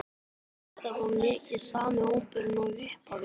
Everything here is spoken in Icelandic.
Er þetta þá mikið sami hópurinn og í upphafi?